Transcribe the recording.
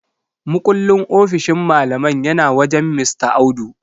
Mukullin ofishin malaman yana wajen Mista Audu.